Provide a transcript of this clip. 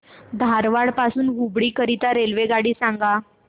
धारवाड पासून हुबळी करीता रेल्वेगाडी सांगा